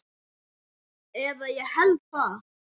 Eða ég held það.